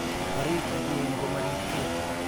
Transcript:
Bare meyek ngo maripgee.